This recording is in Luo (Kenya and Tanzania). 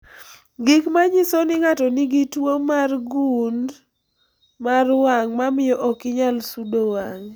Gik manyiso ni ng'ato nigi tuo gund mar wang' mamio okinyal sudo wang'i